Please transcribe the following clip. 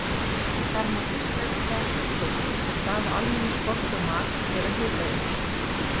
Þar má fyrst nefna sjúkdóma sem stafa af almennum skorti á mat eða hitaeiningum.